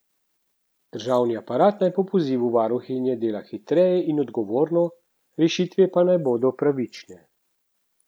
Državni aparat naj po pozivu varuhinje dela hitreje in odgovorno, rešitve pa naj bodo pravične.